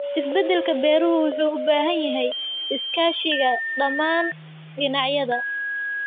Isbeddelka beeruhu wuxuu u baahan yahay iskaashiga dhammaan dhinacyada.